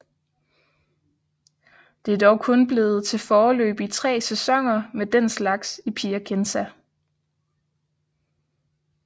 Det er dog kun blevet til foreløbig tre sæsoner med den slags i Piacenza